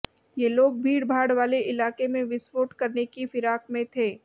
ये लोग भीड़भाड़ वाले इलाके में विस्फोट करने की फिराक में थे